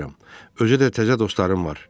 Özü də təzə dostlarım var.